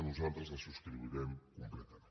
nosaltres la subscriurem completament